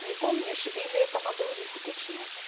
не помнишь или это надо у них уточню